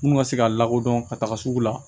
Mun ka se ka lakodɔn ka taga sugu la